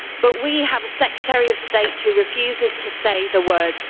But we have a Secretary of State who refuses to say the words.